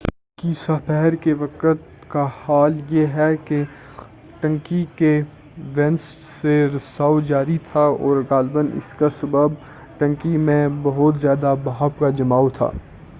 بدھ کی سہ پہر کے وقت کا حال یہ ہے کہ ٹنکی کے وینٹس سے رساؤ جاری تھا اور غالباً اس کا سبب ٹنکی میں بہت زیادہ بھاپ کا جماؤ تھا